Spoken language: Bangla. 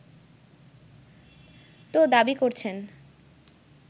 তো দাবি করছেন